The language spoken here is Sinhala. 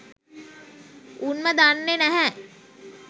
උන්ම දන්නෙ නැහැ